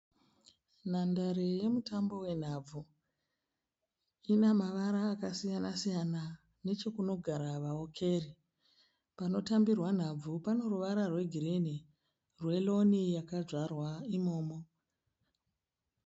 Nhandare yemutambo wenhabvu. Ina mavara akasiyana siyana nechekunogara vawokeri. Panotambirwa nhabvu pane ruvara rwegirini rweroni yakadzvarwa imomo.